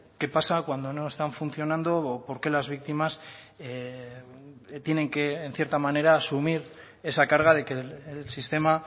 qué pasa cuando no están funcionando o porque las víctimas tienen que en cierta manera asumir esa carga de que el sistema